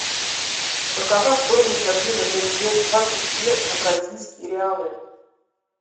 какова стоимость обмена тенге двадцать две на бразильские реалы